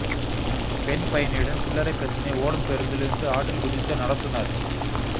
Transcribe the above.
பெண் பயணியுடன் சில்லறை பிரச்சினை ஓடும் பேருந்தில் இருந்து ஆற்றில் குதித்த நடத்துநர்